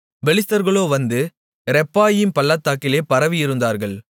பெலிஸ்தர்களோ வந்து ரெப்பாயீம் பள்ளத்தாக்கிலே பரவியிருந்தார்கள்